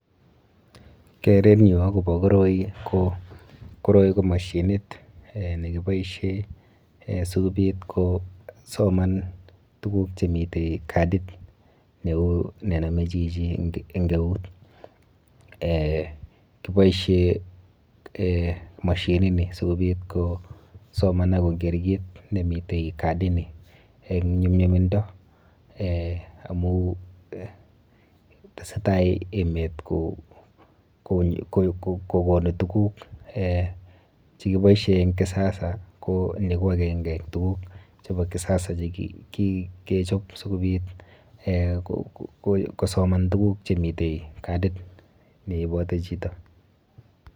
Kerenyu akopo koroi ko koroi ko mashinit eh nekiboishe eh sikobit kosoman tuguk chemite kadit neu nenome chichi eng eut. Eh kiboishe eh mashinini sikobit kosoman akoker kit nemi kadini eng nyumnyumindo amu tesetai emet kokonu tuguk eh chekiboishe eng kisasa ko ni ko akenge eng tuguk chepo kisasa nekikechop sikobit eh kosoman tuguk chemite kadit neiboti chito.